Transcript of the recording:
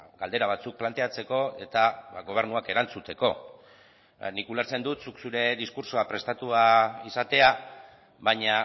galdera batzuk planteatzeko eta gobernuak erantzuteko nik ulertzen dut zuk zure diskurtsoa prestatua izatea baina